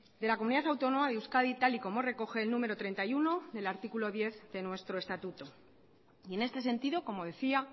de la comunidad autónoma de euskadi tal y como recoge el número treinta y uno del artículo diez de nuestro estatuto y en este sentido como decía